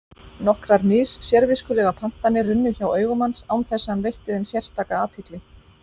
Nokkrar mis-sérviskulegar pantanir runnu hjá augum hans án þess að hann veitti þeim sérstaka athygli.